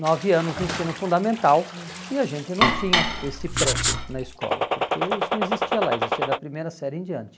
nove anos no ensino fundamental, uhum, e a gente não tinha esse pré na escola, porque isso não existia lá, existia da primeira série em diante.